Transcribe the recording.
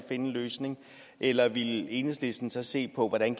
en løsning eller vil enhedslisten så se på hvordan